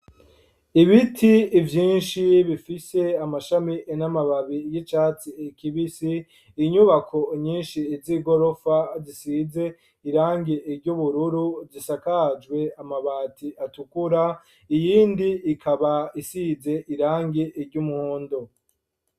Ibiti vyinshi, bifise amashami, n'amababi y'icatsi kibisi; inyubako nyinshi z'igorofa, zisize irangi ry'ubururu, zisakajwe amabati atukura, iyindi ikaba, isize irangi ry'umuhondo.